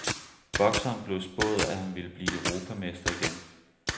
Bokseren blev spået, at han ville blive europamester igen.